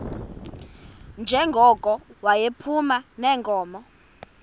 njengoko yayiphuma neenkomo